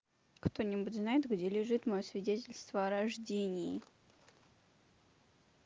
кто-нибудь знает где лежит моё свидетельство о рождении